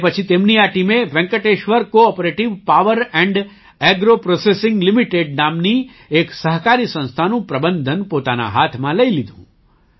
તે પછી તેમની આ ટીમે Venkateshwar cooperative power and agro processing limited નામની એક સહકારી સંસ્થાનું પ્રબંધન પોતાના હાથમાં લઈ લીધું